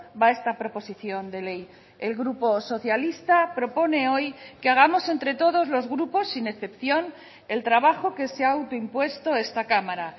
va esta proposición de ley el grupo socialista propone hoy que hagamos entre todos los grupos sin excepción el trabajo que se ha autoimpuesto esta cámara